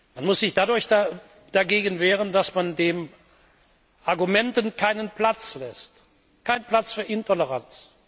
Man muss sich dadurch dagegen wehren, dass man den Argumenten keinen Platz lässt Kein Platz für Intoleranz!